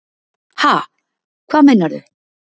Ha, hvað meinarðu?